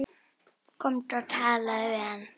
Komdu og talaðu við hann!